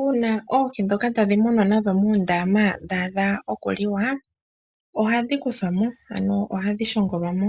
Uuna oohi ndhoka tadhi munwa nadho muundama dhaadha okuliwa, ohadhi kuthwamo. Ano ohadhi ohashi shongolwamo.